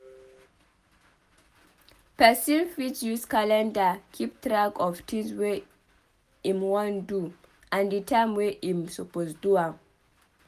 Person fit use calendar keep track of tins wey im wan do and the time wey im suppose do am